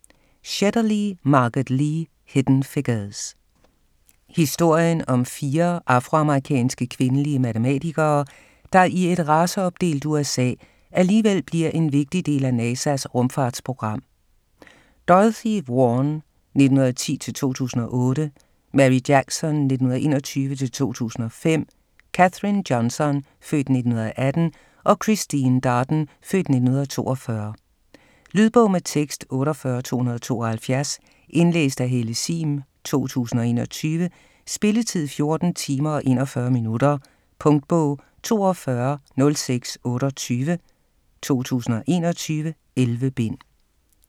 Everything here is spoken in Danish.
Shetterly, Margot Lee: Hidden figures Historien om fire afroamerikanske, kvindelige matematikere, der i et raceopdelt USA, alligevel bliver en vigtig del af NASA's rumfartsprogram: Dorothy Vaughan (1910-2008), Mary Jackson (1921-2005), Katherine Johnson (f. 1918) og Christine Darden (f. 1942). Lydbog med tekst 48272 Indlæst af Helle Sihm, 2021. Spilletid: 14 timer, 41 minutter. Punktbog 420628 2021. 11 bind.